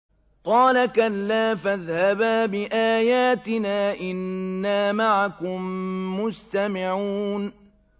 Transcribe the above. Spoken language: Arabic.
قَالَ كَلَّا ۖ فَاذْهَبَا بِآيَاتِنَا ۖ إِنَّا مَعَكُم مُّسْتَمِعُونَ